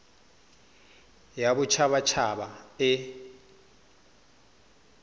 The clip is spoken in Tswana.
ya bodit habat haba e